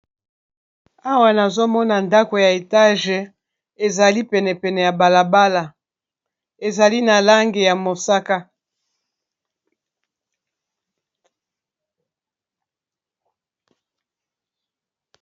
Awa nazomona ndako ya etage ezali pene pene ya balabala ezali na lange ya mosaka.